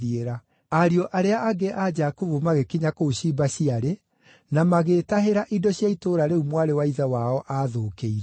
Ariũ arĩa angĩ a Jakubu magĩkinya kũu ciimba ciarĩ, na magĩĩtahĩra indo cia itũũra rĩu mwarĩ wa ithe wao aathũkĩirio.